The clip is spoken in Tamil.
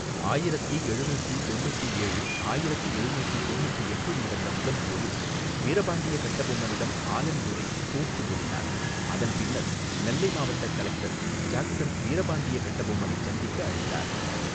ஆயிரத்தி எழுநூத்தி தொன்னூத்தி ஏழு ஆயிரத்தி எழுநூத்தி தொன்னூத்தி எட்டில் நடந்த முதல் போரில் வீரபாண்டிய கட்ட பொம்மனிடம் ஆலன் துரை தோற்று ஓடினார் அதன் பின்னர் நெல்லை மாவட்டக் கலெக்டர் ஜாக்சன் வீரபாண்டிய கட்ட பொம்மனைச் சந்திக்க அழைத்தார்.